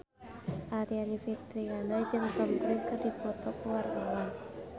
Aryani Fitriana jeung Tom Cruise keur dipoto ku wartawan